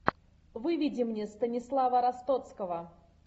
выведи мне станислава ростоцкого